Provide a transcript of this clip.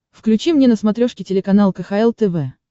включи мне на смотрешке телеканал кхл тв